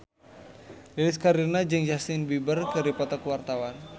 Lilis Karlina jeung Justin Beiber keur dipoto ku wartawan